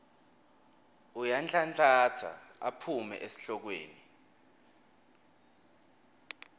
uyanhlanhlatsa aphume esihlokweni